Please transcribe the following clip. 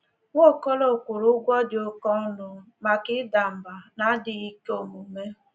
Nwaokolo kwụrụ ụgwọ di oke ọnụ maka ida mba na adịghị ike omume.